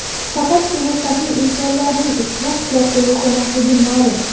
Faqatgina saxiy insonlarning ushbu qishloqda yashamasligi ma’lum.